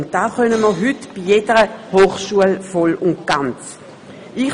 Und das können wir heute bei jeder der drei Hochschulen voll und ganz tun.